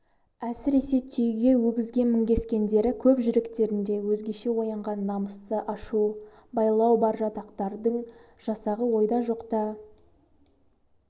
әсіресе түйеге өгізге мінгескендері көп жүректерінде өзгеше оянған намысты ашу байлау бар жатақтардың жасағы ойда жоқтан